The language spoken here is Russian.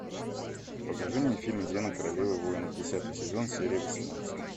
покажи мне фильм зена королева воинов десятый сезон серия восемнадцать